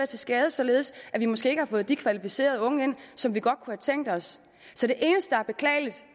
til skade således at vi måske ikke har fået de kvalificerede unge ind som vi godt kunne have tænkt os så det eneste der er beklageligt